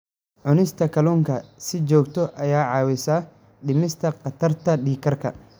Cunista kalluunka si joogto ah waxay caawisaa dhimista khatarta dhiig karka.